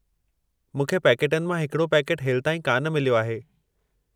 मूंखे पैकेटनि मां हिकड़ो पैकेटु हेलिताईं कान मिलियो आहे।